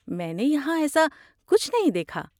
میں نے یہاں ایسا کچھ نہیں دیکھا۔